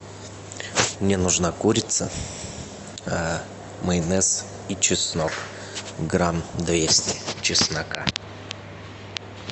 мне нужна курица майонез и чеснок грамм двести чеснока